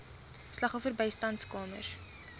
slagoffer bystandskamers